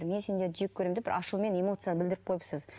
мен сендерді жек көремін деп бір ашумен эмоциямен білдіріп қойыпсыз